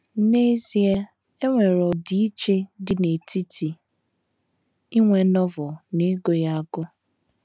N’ezie, e nwere ọdịiche dị n’etiti inwe Novel na ịgụ ya agụ.